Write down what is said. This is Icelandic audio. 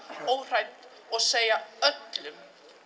óhrædd og segja öllum